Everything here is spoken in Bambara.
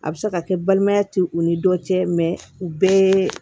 A bɛ se ka kɛ balimaya tɛ u ni dɔ cɛ u bɛɛ